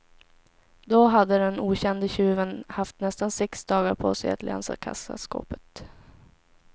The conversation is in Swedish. Då hade den okände tjuven haft nästan sex dagar på sig att länsa kassaskåpet.